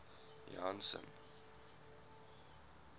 janson